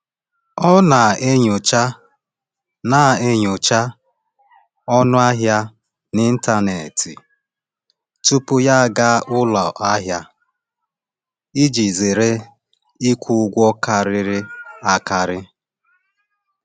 Ọ na-enyocha na-enyocha ọnụ ahịa n’ịntanetị tupu ya aga ụlọ ahịa iji zere ịkwụ ụgwọ karịrị akarị.